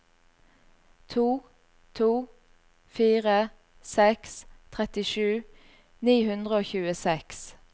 to to fire seks trettisju ni hundre og tjueseks